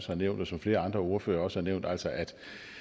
har nævnt og som flere andre ordførere også har nævnt altså at